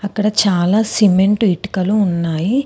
అక్కడ చాలా సిమెంటు ఇటుకలు ఉన్నాయి.